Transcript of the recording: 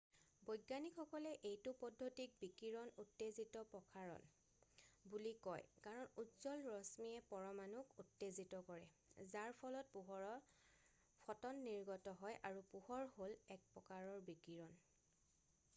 "বৈজ্ঞানিকসকলে এইটো পদ্ধতিক "বিকিৰণৰ উত্তেজিত প্ৰসাৰণ" বুলি কয় কাৰণ উজ্জ্বল ৰশ্মিয়ে পৰমাণুক উত্তেজিত কৰে যাৰ ফলত পোহৰৰ ফ'টন নিৰ্গত হয় আৰু পোহৰ হ'ল এক প্ৰকাৰৰ বিকিৰণ।""